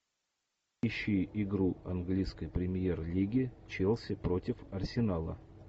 ищи игру английской премьер лиги челси против арсенала